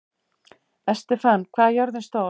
Estefan, hvað er jörðin stór?